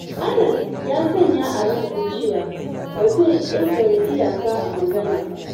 Anas ya sanya a ransa cewa ba zai ƙetare iyaka a magana ba.